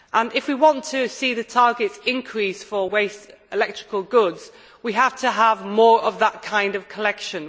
If we want to see the targets increased for waste electrical goods, we have to have more of that kind of collection.